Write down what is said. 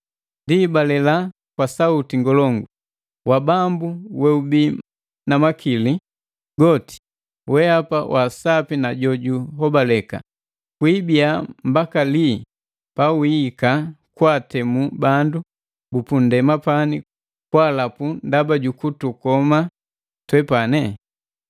Ndi, balela kwa sauti ngolongu, “Wa Bambu weubi namakili goti, wehapa wasapi na jo juhobaleka, kwiibia mbaka lii pawiika kwaatemu bandu bupunndema pani kwaalapu ndaba jukutukoma twepane?”